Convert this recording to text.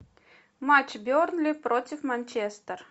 матч бернли против манчестер